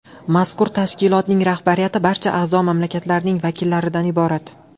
Mazkur tashkilotning rahbariyati barcha a’zo mamlakatlarning vakillaridan iborat.